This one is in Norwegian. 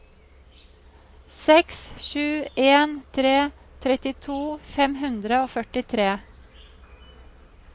seks sju en tre trettito fem hundre og førtitre